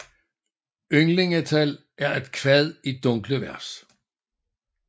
Ynglingatal er et kvad i dunkle vers